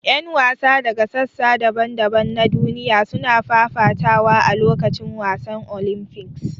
Yan wasa daga sassa daban-daban na duniya suna fafatawa a lokacin wasannin Olympics.